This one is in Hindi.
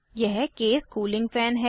यह केस कूलिंग फैन है